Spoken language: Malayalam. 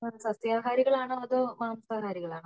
സസ്യഹാരികൾ ആണോ അതോ മാംസാഹാരികൾ ആണോ